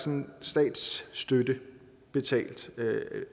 en slags statsstøtte betalt